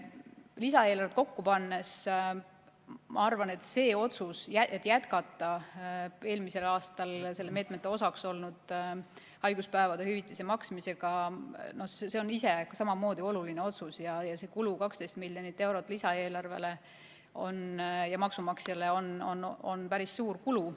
Lisaeelarvet kokku pannes tehtud otsus jätkata eelmisel aastal meetmete osaks olnud haiguspäevade hüvitise maksmist on samamoodi oluline otsus ning selle kulu, 12 miljonit eurot, on lisaeelarvele ja maksumaksjale päris suur.